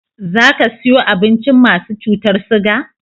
Za ka siyo abincin masu cutar siga?